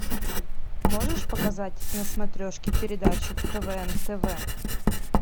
можешь показать на смотрешке передачу квн тв